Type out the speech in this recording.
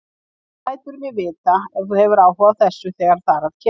Þú lætur mig vita, ef þú hefur áhuga á þessu, þegar þar að kemur